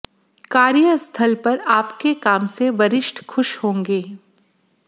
कार्य स्थल पर आपके काम से वरिष्ठ खुश होंगे